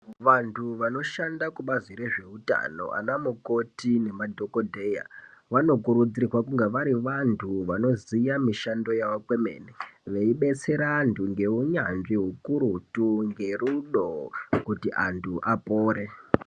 Vantu vanoshanda kubhazi rezveutano anamukoti nemadhongodheya vanokurudzirwa kunge vari vantu vanoziva mishando yavo kwemene veibetsera antu neunyanzvi ukurutu ngerudo kuti antu apore.